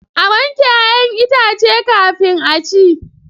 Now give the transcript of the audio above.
A wanke 'ya'yan itace kafin a ci.